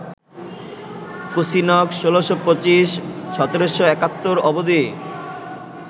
কুসিনক ১৬২৫-১৭৭১ অবধি